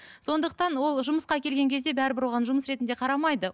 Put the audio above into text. сондықтан ол жұмысқа келген кезде бәрібір оған жұмыс ретінде қарамайды